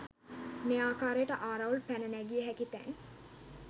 මේ ආකාරයට ආරවුල් පැන නැඟිය හැකි තැන්